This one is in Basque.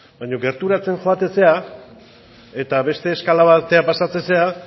baino gerturatzen zara eta beste eskala batera pasatzen zara